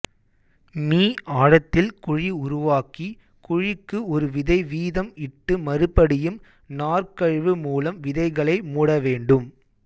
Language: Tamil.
மீ ஆழத்தில் குழி உருவாக்கி குழிக்கு ஒரு விதை வீதம் இட்டு மறுபடியும் நார்க்கழிவு மூலம் விதைகளை மூடவேண்டும்